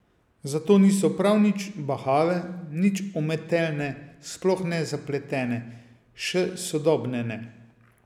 Zato niso prav nič bahave, nič umetelne, sploh ne zapletene, še sodobne ne.